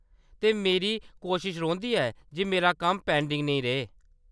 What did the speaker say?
ते मेरी कोशश रौंह्‌‌‌दी ऐ जे मेरा कम्म पेंडिंग न रेह्।